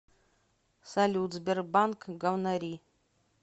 салют сбербанк говнори